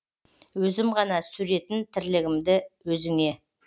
өзім ғана сүретін тірлігімді өзіңе